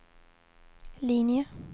linje